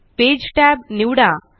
page tab निवडा